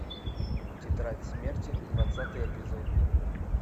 тетрадь смерти двадцатый эпизод